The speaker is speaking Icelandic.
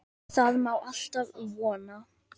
Það má alltaf vona.